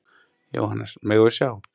Jóhannes: Megum við sjá?